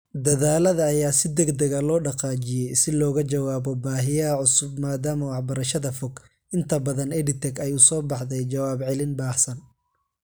Dadaallada ayaa si degdeg ah loo dhaqaajiyay si looga jawaabo baahiyaha cusub maadaama waxbarashada fog , inta badan EdTech , ay u soo baxday jawaab celin baahsan .